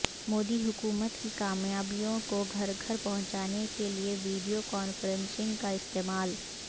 مودی حکومت کی کامیابیوں کو گھرگھر پہنچانے کےلئے ویڈیو کانفرنسنگ کا استعمال